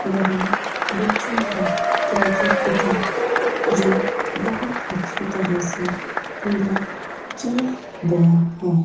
यह बच्चों का प्रोजेक्ट तथा जो बहुत अच्छी तरह से पूरा किया गया है।